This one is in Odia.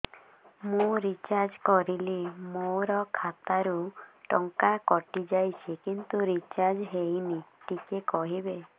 ମୁ ରିଚାର୍ଜ କରିଲି ମୋର ଖାତା ରୁ ଟଙ୍କା କଟି ଯାଇଛି କିନ୍ତୁ ରିଚାର୍ଜ ହେଇନି ଟିକେ କହିବେ